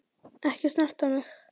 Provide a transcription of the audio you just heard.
Ekki snerta mig.